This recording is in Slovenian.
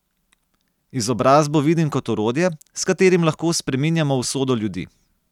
Izobrazbo vidim kot orodje, s katerim lahko spreminjamo usodo ljudi.